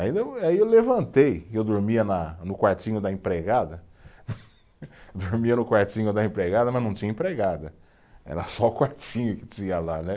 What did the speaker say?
Aí, aí eu levantei, eu dormia na no quartinho da empregada, dormia no quartinho da empregada, mas não tinha empregada, era só o quartinho que tinha lá, né?